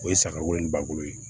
O ye saga wolo ni bakuru ye